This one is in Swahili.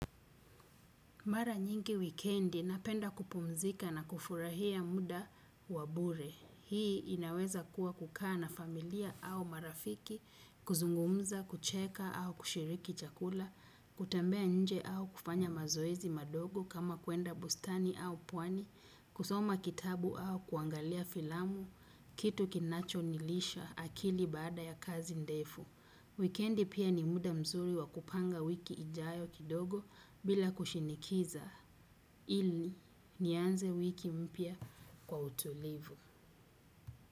Mara nyingi wikendi napenda kupumzika na kufurahia muda wa bure. Hii inaweza kuwa kukaa na familia au marafiki, kuzungumza, kucheka au kushiriki chakula, kutembea nje au kufanya mazoezi madogo kama kuenda bustani au pwani, kusoma kitabu au kuangalia filamu, kitu kinacho nilisha akili baada ya kazi ndefu. Wikendi pia ni muda mzuri wa kupanga wiki ijayo kidogo bila kushinikiza ili nianze wiki mpya kwa utulivu.